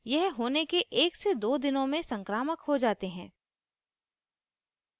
यह होने के 12 दिनों में संक्रामक हो जाते हैं